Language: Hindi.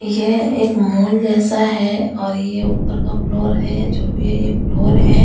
ये एक मॉल जैसा है और ये ऊपर का फ्लोर है या जो भी है फ्लोर है और यहाँ।